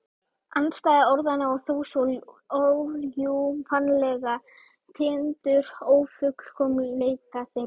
Andstæða orðanna og þó svo órjúfanlega tengdur ófullkomleika þeirra.